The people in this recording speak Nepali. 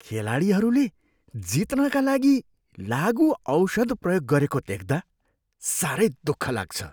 खेलाडीहरूले जित्नका लागि लागुऔषध प्रयोग गरेको देख्दा साह्रै दुःख लाग्छ।